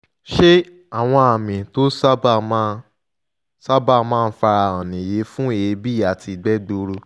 ṣé àwọn àmì tó sábà máa sábà máa ń fara hàn nìyí fún èébì àti ìgbẹ́ gbuuru?